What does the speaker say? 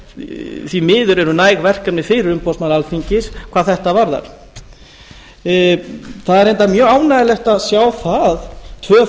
að því miður eru næg verkefni fyrir umboðsmann alþingis hvað þetta varðar það er reyndar mjög ánægjulegt að sjá það að tvö